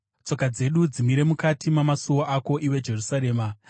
Tsoka dzedu dzimire mukati mamasuo ako, iwe Jerusarema.